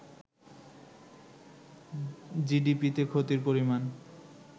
জিডিপিতে ক্ষতির পরিমাণ